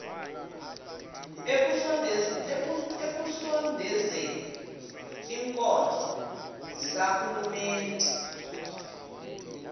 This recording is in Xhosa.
ekusondezeni iinkonzo zikarhulumente